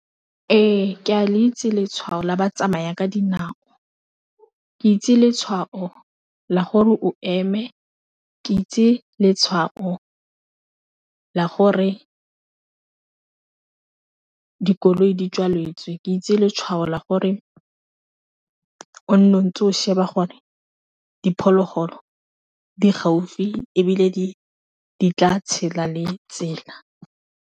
Ee, ke a le itse letshwao la batsamaya ka dinao ke itse letshwao la gore o eme, ke itse letshwao la gore ke dikoloi di tswaletswe, ke itse letshwao la gore o nne o ntse o sheba gore diphologolo di gaufi e bile di tla tshela le tsela.